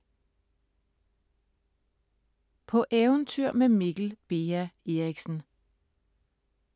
På eventyr med Mikkel Beha Erichsen